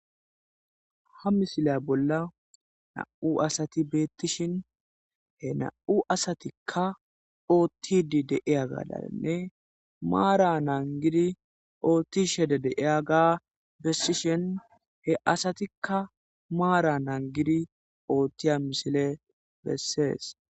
ha misile bolla na7u asati beettishin he na7u asatikka oottidi deiya gaalanne maara naangidi oottishede deiya ga bessishin he asatikka maara naangidi oottiya misile bessees